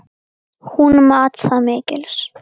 Hún mat það mikils.